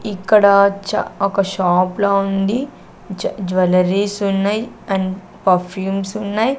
ఇక్కడ చ్చా ఒక షాప్ లా ఉంది జ జువెలరీస్ ఉన్నాయి అండ్ పర్ఫ్యూమ్స్ ఉన్నాయి.